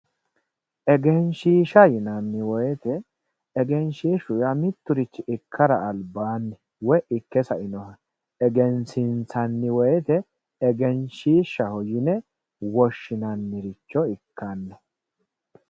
Egenshiishsha yinnanni woyte egenshishshu yaa miturichi ikkara albaani woyi ikke saino egensiissanni woyte egenshishshaho yinne woshshinanniricho ikkano.